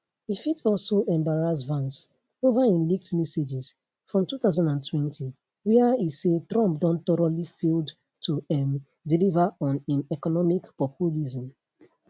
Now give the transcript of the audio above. e fit also embarrass vance over im leaked messages from 2020 wia e say trump don thoroughly failed to um deliver on im economic populism